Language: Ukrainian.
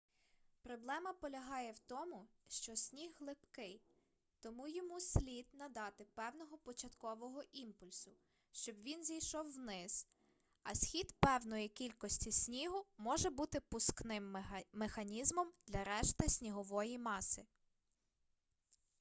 проблема полягає в тому що сніг липкий тому йому слід надати певного початкового імпульсу щоб він зійшов вниз а схід певної кількості снігу може бути пускним механізмом для решти снігової маси